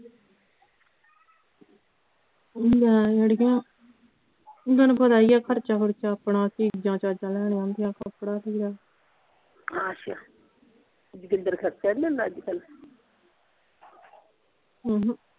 ਲੈ ਜਿਹੜੀਆਂ ਤੁਹਾਨੂੰ ਪਤਾ ਹੀ ਆ ਖਰਚ ਖੁਰਚਾ ਆਪਣਾ ਚੀਜ਼ਾਂ ਚਾਜ਼ਾਂ ਲੈਣੀਆਂ ਹੁੰਦੀਆਂ ਕੱਪੜਾ ਥਿਗੜਾ ਆਸ਼ਾ ਜੋਗਿੰਦਰ ਖਰਚ ਨਹੀਂ ਦਿੰਦਾ ਅੱਜਕਲ ਹਮ।